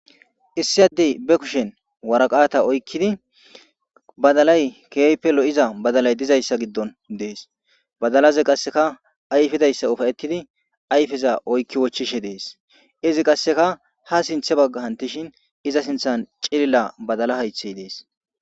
issi addey be kushen waraqata oykkidi badalay keepe lo7iza badalay dizayssa giddon dees badalaza qasseka ayfidayssa ufayettidi ayfeza oykki wochishe dees izi qasseka ha sinthe bagga hantishin iza sinthan cilila badala haythey dees